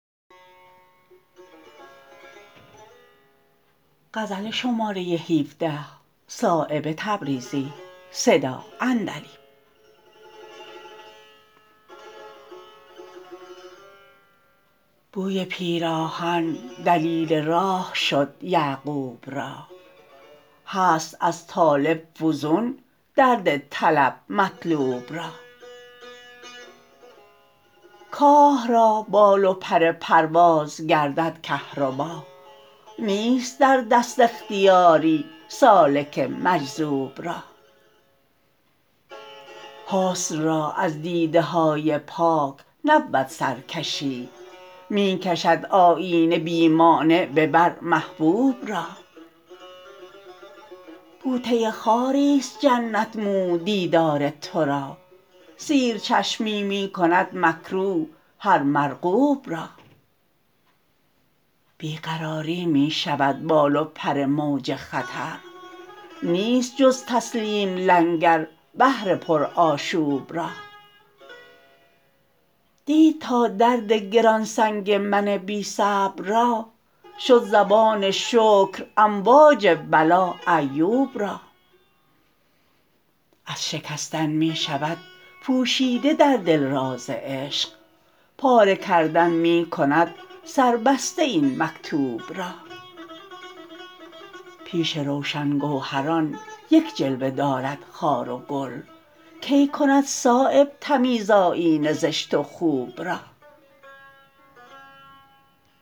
بوی پیراهن دلیل راه شد یعقوب را هست از طالب فزون درد طلب مطلوب را کاه را بال و پر پرواز گردد کهربا نیست در دست اختیاری سالک مجذوب را حسن را از دیده های پاک نبود سرکشی می کشد آیینه بی مانع به بر محبوب را بوته خاری است جنت محو دیدار ترا سیر چشمی می کند مکروه هر مرغوب را بی قراری می شود بال و پر موج خطر نیست جز تسلیم لنگر بحر پر آشوب را دید تا درد گران سنگ من بی صبر را شد زبان شکر امواج بلا ایوب را از شکستن می شود پوشیده در دل راز عشق پاره کردن می کند سربسته این مکتوب را پیش روشن گوهران یک جلوه دارد خار و گل کی کند صایب تمیز آیینه زشت و خوب را